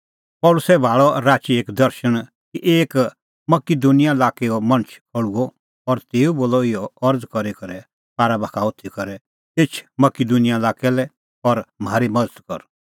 पल़सी भाल़अ राची एक दर्शण कि एक मकिदुनिया लाक्कैओ मणछ खल़्हुअ और तेऊ बोलअ अरज़ करी करै पारा बाखा होथी करै एछ मकिदुनिया लाक्कै लै और म्हारी मज़त कर